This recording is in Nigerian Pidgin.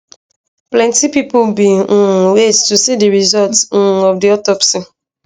plenti pipo bin um wait to see di result um of di autopsy